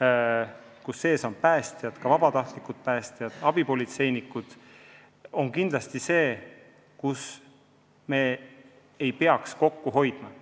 hõlmab ju ka päästjaid, sh vabatahtlikke päästjaid, ja abipolitseinikke –, ja nende pealt ei tohiks kindlasti kokku hoida.